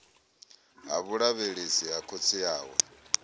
ha vhulavhelesi ha khotsi awe